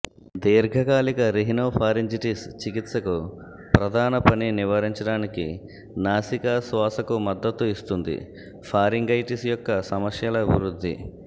దీర్ఘకాలిక రిహినోఫారింజిటిస్ చికిత్సకు ప్రధాన పని నివారించడానికి నాసికా శ్వాసకు మద్దతు ఇస్తుంది ఫారింగైటిస్ యొక్క సమస్యల అభివృద్ధి